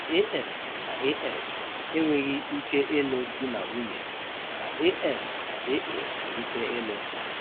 AS na AS enweghị ike ịlụ di na nwunye, mana AS na AA nwere ike ịlụ.